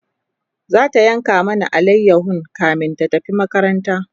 zata yanka mana alayahon kamin ta tafi makaranta